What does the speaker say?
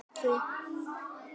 Hvers vegna gerirðu það ekki?